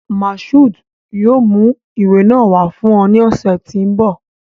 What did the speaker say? Mashood yoo mu iwe naa wa fun ọ ni ọsẹ to nbọ